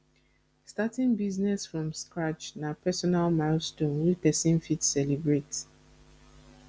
starting business from scratch na personal milestone wey person fit celebrate